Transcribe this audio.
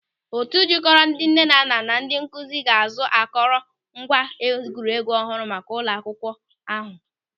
Otu jikọrọ ndị nnenanna na ndị nkụzi ga-azụ akọrọ ngwa egwuregwu ọhụrụ maka ụlọ akwụkwọ ahụ.